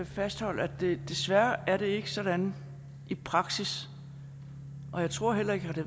fastholde at det desværre ikke er sådan i praksis og jeg tror heller ikke at det